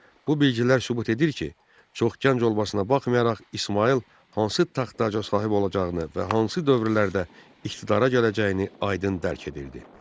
Bu bilgilər sübut edir ki, çox gənc olmasına baxmayaraq İsmayıl hansı taxta sahib olacağını və hansı dövrlərdə iqtidara gələcəyini aydın dərk edirdi.